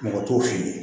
Mɔgɔ t'o fɛ yen